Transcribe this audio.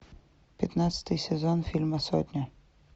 пятнадцатый сезон фильма сотня